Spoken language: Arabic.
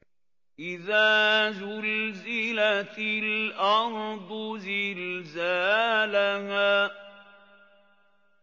إِذَا زُلْزِلَتِ الْأَرْضُ زِلْزَالَهَا